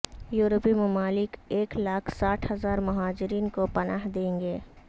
یورپی ممالک ایک لالکھ ساٹھ ہزار مہاجرین کو پناہ دیں گے